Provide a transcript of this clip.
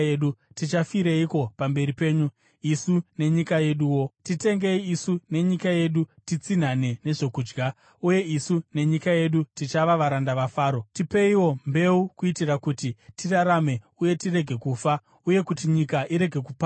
Tichafireiko pamberi penyu, isu nenyika yeduwo? Titengei isu nenyika yedu titsinhane nezvokudya, uye isu nenyika yedu tichava varanda vaFaro. Tipeiwo mbeu kuitira kuti tirarame uye tirege kufa, uye kuti nyika irege kuparara.”